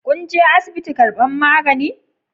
Kun je asibiti karban magani?